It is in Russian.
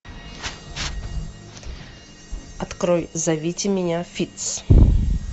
открой зовите меня фитц